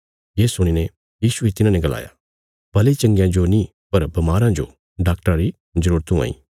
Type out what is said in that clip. ये सुणी ने यीशुये तिन्हांने गलाया भले चंगयां जो नीं पर बमाराँ जो डाक्टरा री जरूरत हुआंईं